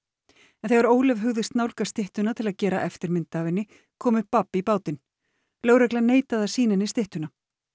en þegar Ólöf hugðist nálgast styttuna til að gera eftirmynd af henni kom upp babb í bátinn lögreglan neitaði að sýna henni styttuna